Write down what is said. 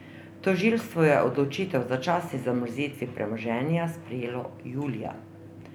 Tožilstvo je odločitev o začasni zamrznitvi premoženja sprejelo julija.